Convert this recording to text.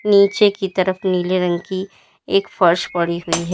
नीचे की तरफ नीले रंग की एक फर्श पड़ी हुई है।